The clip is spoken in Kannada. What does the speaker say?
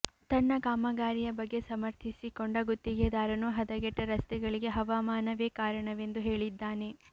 ತನ್ನ ಕಾಮಗಾರಿಯ ಬಗ್ಗೆ ಸಮರ್ಥಿಸಿಕೊಂಡ ಗುತ್ತಿಗೆದಾರನು ಹದಗೆಟ್ಟ ರಸ್ತೆಗಳಿಗೆ ಹವಾಮಾನವೇ ಕಾರಣವೆಂದು ಹೇಳಿದ್ದಾನೆ